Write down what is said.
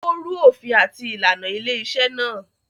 Ó rú òfin àti ìlànà ilé-iṣẹ́ náà.